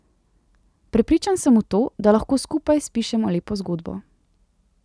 Prepričan sem v to, da lahko skupaj spišemo lepo zgodbo.